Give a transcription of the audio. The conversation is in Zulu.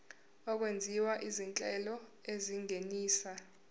okwenziwa izinhlelo ezingenisa